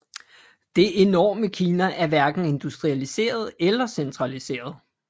Det enorme Kina er hverken industrialiseret eller centraliseret